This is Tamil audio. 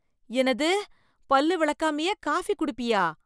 என்னது - பல் விளக்காமயே காஃபி குடிப்பியா